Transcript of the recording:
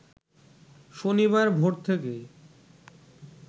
শনিবার ভোর থেকেই